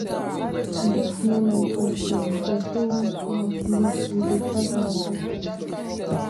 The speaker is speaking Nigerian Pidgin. goat no like wet floor at all so once roof leak we dey patch am sharperly